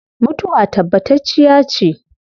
Mutuwa tabbatacciya ce